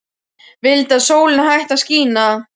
Vildi að sólin hætti að skína.